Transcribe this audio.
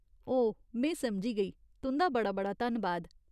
ओह, में समझी गेई। तुं'दा बड़ा बड़ा धन्नबाद।